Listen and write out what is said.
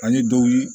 Ani dɔw ye